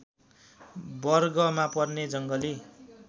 वर्गमा पर्ने जङ्गली